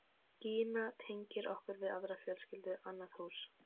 Gína tengir okkur við aðra fjölskyldu, annað hús.